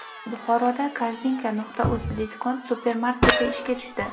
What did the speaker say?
Buxoroda Korzinka.uz Diskont supermarketi ishga tushdi.